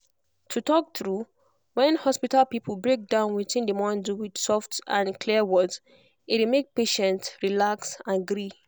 to talk true when hospital people break down wetin dem wan do with soft and clear words e dey make patient relax and gree.